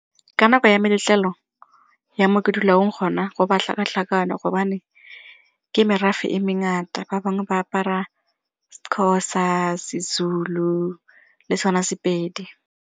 Ka nako ya meletlelo ya mo ke dulang gona go ba tlhakatlhakano gobane ke merafe e mengata ba bangwe ba apara seXhosa, seZulu le sone sepedi.